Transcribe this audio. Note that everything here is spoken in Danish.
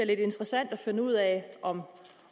lidt interessant at finde ud af om